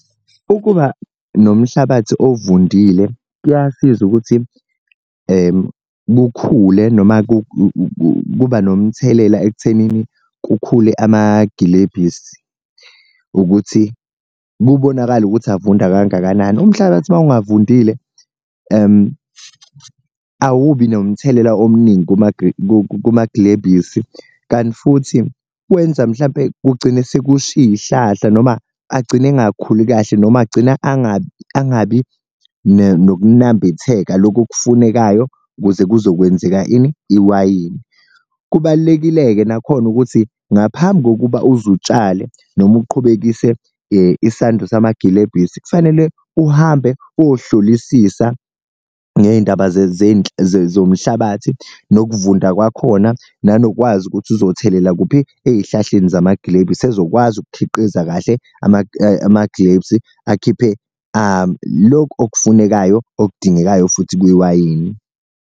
Ukuba nomhlabathi ovundile kuyasiza ukuthi kukhule noma kuba nomthelela ekuthenini kukhule amagilebhisi ukuthi kubonakale ukuthi avunda kangakanani, umhlabathi uma ungavundile awubi nomthelela omuningi kumaglebhisi. Kanti futhi wenza mhlampe kugcine sekusha iy'hlahla noma agcine engakhuli kahle noma agcina angabi angabi nokunambitheka loku okufunekayo, kuze kuzokwenzeka ini? Iwayini. Kubalulekile-ke nakhona ukuthi ngaphambi kokuba uze utshale noma uqhubekisele isando samagilebhisi kufanele uhambe ohlolisisa ngeyindaba zomhlabathi nokuvunda kwakhona nanokwazi ukuthi, uzothelela kuphi? Ey'hlahleni zamagilebhisi ezokwazi ukukhiqiza kahle amaglebsi akhiphe lokhu okufunekayo okudingekayo futhi kwiwayini.